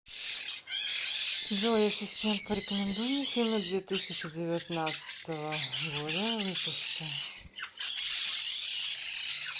джой ассистент порекомендуй мне фильмы две тысячи девятнадцатого года выпуска